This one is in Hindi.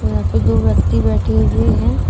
यहां पे दो व्यक्ति बैठी हुए है।